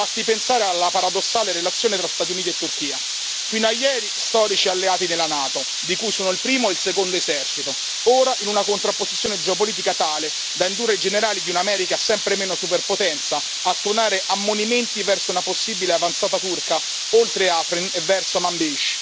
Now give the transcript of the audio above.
Basti pensare alla paradossale relazione tra Stati Uniti e Turchia, fino a ieri, storici alleati della NATO, di cui sono il primo, il secondo esercito, ora in una contrapposizione geopolitica tale da indurre i generali di un'America sempre meno superpotenza a tuonare ammonimenti verso una possibile avanzata turca, oltre Afrin e verso Manbij.